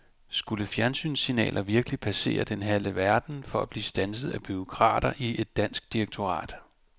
Skulle fjernsynssignaler virkelig passere den halve verden for at blive standset af bureaukrater i et dansk direktorat?